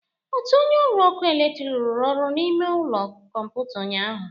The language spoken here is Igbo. Otu onye ọrụ ọkụ eletrik rụrụ ọrụ n'ime ụlọ kọmputa ụnyaahụ